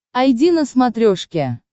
айди на смотрешке